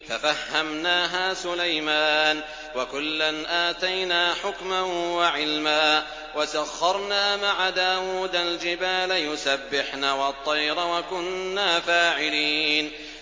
فَفَهَّمْنَاهَا سُلَيْمَانَ ۚ وَكُلًّا آتَيْنَا حُكْمًا وَعِلْمًا ۚ وَسَخَّرْنَا مَعَ دَاوُودَ الْجِبَالَ يُسَبِّحْنَ وَالطَّيْرَ ۚ وَكُنَّا فَاعِلِينَ